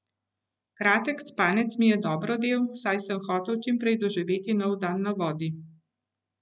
Kratek spanec mi je dobro del, saj sem hotel čimprej doživeti nov dan na vodi.